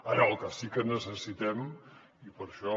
ara el que sí que necessitem i per això